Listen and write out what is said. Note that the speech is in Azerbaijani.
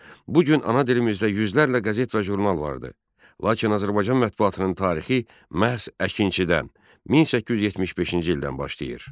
Bu gün ana dilimizdə yüzlərlə qəzet və jurnal vardır, lakin Azərbaycan mətbuatının tarixi məhz Əkinçidən, 1875-ci ildən başlayır.